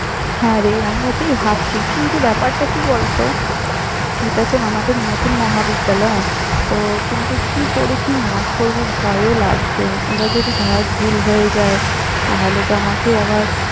হ্যাঁ রে আমি ওটাই ভাবছি কিন্তু, ব্যাপারটা কি বলত এত তো আমাদের নতুন মহাবিদ্যালয় তো কিন্তু কি করে কি নাচ করব, ভয়ও লাগছে। এবার যদি ধর, ভুল হয়ে যায়, তাহলে তো আমাকে আবার।